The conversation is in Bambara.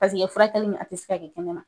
Pariseke furakɛli nin a ti se ka kɛ kɛnɛ ma.